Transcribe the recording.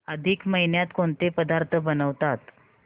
अधिक महिन्यात कोणते पदार्थ बनवतात